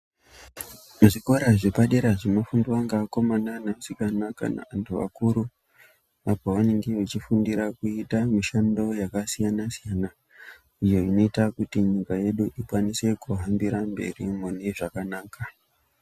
Muzvikora zvepadera zvinofundwa ngevakomana nevasikana kana vanthu vakuru, apo vanenge vechifundira kuita mushando yakasiyana- siyana. Iyo inoita kuti nyika yedu ikwanise kuhambira mberi mune zvakanaka.